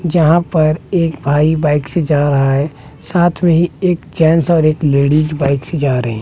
जहां पर एक भाई बाइक से जा रहा है साथ में ही एक जेंस और एक लेडीज बाइक से जा रहे।